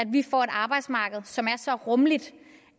vi får et arbejdsmarked som er så rummeligt